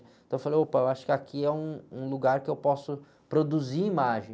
Então eu falei, opa, eu acho que aqui é um, um lugar que eu posso produzir imagem.